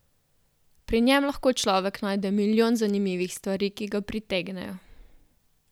Pri njem lahko človek najde milijon zanimivih stvari, ki ga pritegnejo.